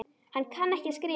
Hann kann ekki að skrifa.